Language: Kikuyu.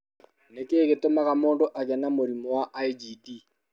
Nĩ kĩĩ gĩtũmaga mũndũ agĩe na mũrimũ wa IgD?